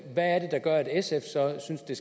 det